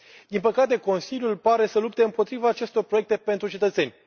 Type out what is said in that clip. Din păcate Consiliul pare să lupte împotriva acestor proiecte pentru cetățeni.